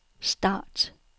start